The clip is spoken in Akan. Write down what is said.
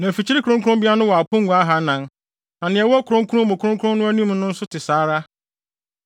Na mfikyiri kronkronbea no wɔ apongua ahannan, na nea ɛwɔ Kronkron Mu Kronkron no anim no nso te saa ara.